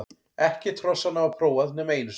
Ekkert hrossanna var prófað nema einu sinni.